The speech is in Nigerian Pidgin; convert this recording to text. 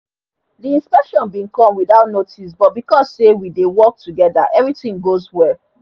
the inspection been come without notice but because say we dey work together everything goes well